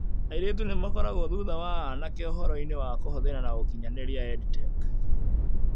Airĩtu nĩ makoragwo thutha wa anake ũhoro-inĩ wa kũhũthĩra na ũkinyanĩria EdTech .